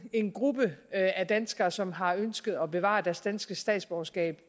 en gruppe af danskere som har ønsket at bevare deres danske statsborgerskab